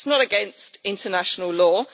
It is not against international law.